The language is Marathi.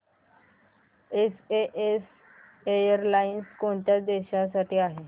एसएएस एअरलाइन्स कोणत्या देशांसाठी आहे